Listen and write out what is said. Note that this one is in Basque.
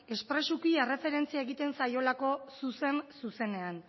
espresuki erreferentzia egiten zaiolako zuzen zuzenean